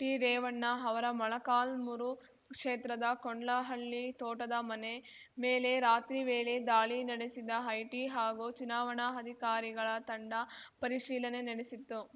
ಟಿರೇವಣ್ಣ ಅವರ ಮೊಳಕಾಲ್ಮುರು ಕ್ಷೇತ್ರದ ಕೊಂಡ್ಲಹಳ್ಳಿ ತೋಟದ ಮನೆ ಮೇಲೆ ರಾತ್ರಿ ವೇಳೆ ದಾಳಿ ನಡೆಸಿದ ಐಟಿ ಹಾಗೂ ಚುನಾವಣಾ ಅಧಿಕಾರಿಗಳ ತಂಡ ಪರಿಶೀಲನೆ ನಡೆಸಿತ್ತು